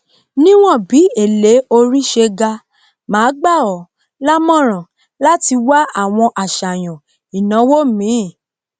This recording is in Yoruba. níwọn bí èlé orí se ga máa gba ọ lámọràn láti wá àwọn àsàyàn ìnáwó míì